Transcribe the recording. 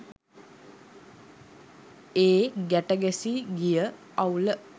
ඒ ගැට ගැසී ගිය අවුල